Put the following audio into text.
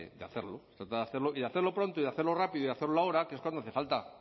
de hacerlo se tratar de hacerlo y hacerlo pronto y hacerlo rápido y hacerlo ahora que es cuando hace falta